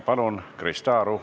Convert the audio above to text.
Palun, Krista Aru!